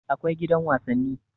Akwai gidan wasanni